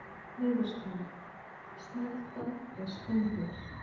Niðurstaða: Snælda er spendýr.